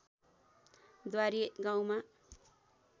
द्वारी गाउँमा